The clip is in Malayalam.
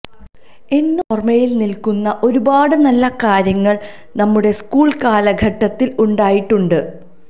എന്നും ഓര്മ്മയില് നില്ക്കുന്ന ഒരുപാട് നല്ല കാര്യങ്ങള് നമ്മുടെ സ്കൂള് കാലഘട്ടത്തില് ഉണ്ടായിട്ടുണ്ട്